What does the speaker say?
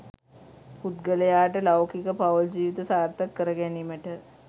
පුද්ගලයාට ලෞකික පවුල් ජීවිත සාර්ථක කරගැනීමට